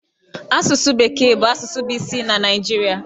Asụsụ bekee bụ asụsụ bụ isi na Naịjirịa.